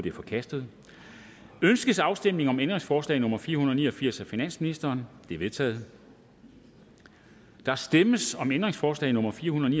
er forkastet ønskes afstemning om ændringsforslag nummer fire hundrede og ni og firs af finansministeren det er vedtaget der stemmes om ændringsforslag nummer fire hundrede og